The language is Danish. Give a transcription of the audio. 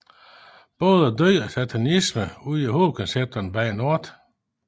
Både død og satanisme udgør hovedkoncepterne bag Nortt